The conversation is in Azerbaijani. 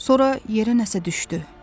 Sonra yerə nəsə düşdü.